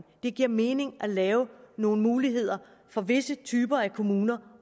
det giver mening at lave nogle muligheder for visse typer af kommuner